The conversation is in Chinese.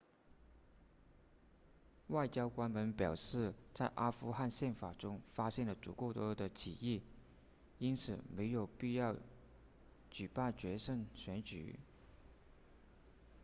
外交官们表示在阿富汗宪法中发现了足够多的歧义因此没有必要举办决胜选举